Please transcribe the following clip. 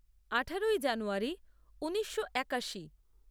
আঠারোই জানুয়ারী ঊনিশো একাশি